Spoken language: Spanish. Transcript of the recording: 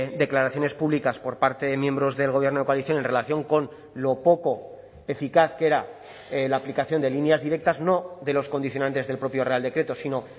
declaraciones públicas por parte de miembros del gobierno de coalición en relación con lo poco eficaz que era la aplicación de líneas directas no de los condicionantes del propio real decreto sino